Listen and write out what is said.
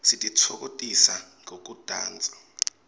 sititfokotisa ngekudansa